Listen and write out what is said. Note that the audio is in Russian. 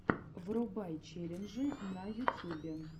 врубай челленджи в ютюбе